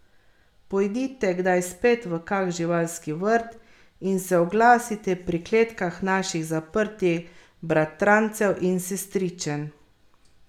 Pojdite kdaj spet v kak živalski vrt in se oglasite pri kletkah naših zaprtih bratrancev in sestričen.